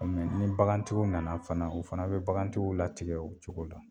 Ni bagantigiw nana fana o fana be bagantigiw latigɛ o cogo la